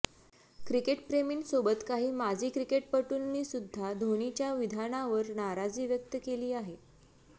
क्रिकेटप्रेमींसोबत काही माजी क्रिकेटपटूंनीसुध्दा धोनीच्या विधानावर नाराजी व्यक्त केली आहे